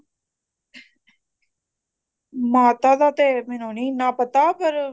ਮਾਤਾ ਦਾ ਤੇ ਮੈਨੂੰ ਨੀ ਇੰਨਾ ਪਤਾ ਪਰ